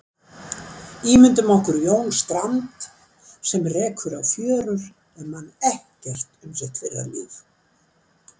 Ímyndum okkur Jón Strand, sem rekur á fjörur en man ekkert um sitt fyrra líf.